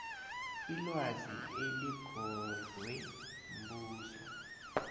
ilwazi eligodlwe mbuso